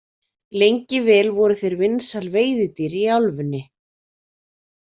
Lengi vel voru þeir vinsæl veiðidýr í álfunni.